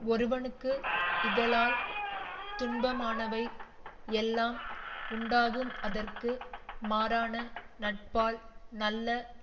ஒருவனுக்கு இகலால் துன்பமானவை எல்லாம் உண்டாகும்அதற்கு மாறான நட்பால் நல்ல